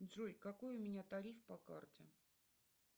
джой какой у меня тариф по карте